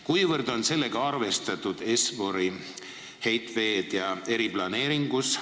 Kuivõrd on sellega arvestatud eriplaneeringus?